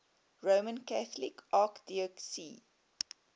roman catholic archdiocese